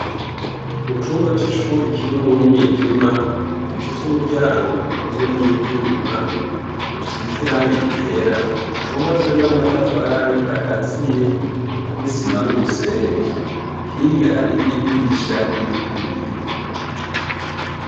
Mu cumba c'ishuri kirimwo umwijima, gifise umuryango ukozwe n'ivyuma, usize irangi ryera, hubatswe n'amatafari akaziye n'isima n'umusenyi. Hirya hariyo idirisha ririko ibiyo.